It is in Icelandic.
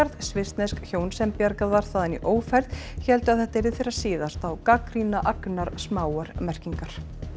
svissnesk hjón sem bjarga ð var þaðan í ófærð héldu að þetta yrði þeirra síðasta og gagnrýna agnarsmáar merkingar